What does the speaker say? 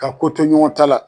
Ka ko to ɲɔgɔn ta la.